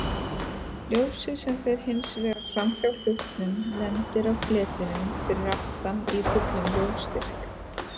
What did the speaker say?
Ljósið sem fer hins vegar framhjá hlutnum lendir á fletinum fyrir aftan í fullum ljósstyrk.